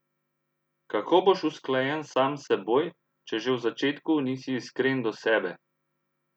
Kako boš usklajen sam s seboj, če že v začetku nisi iskren do sebe?